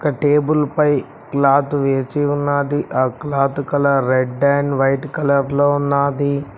Table పై cloth వేచి ఉన్నాది ఆ cloth colour red and white colour లో ఉన్నాది.